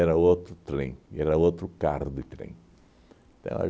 Era outro trem, e era outro carro de trem. Então